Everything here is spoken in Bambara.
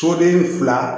Soden fila